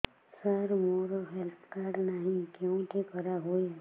ସାର ମୋର health card ନାହିଁ କେଉଁଠି କରା ହୁଏ